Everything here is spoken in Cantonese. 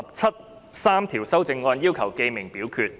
陳志全議員要求點名表決。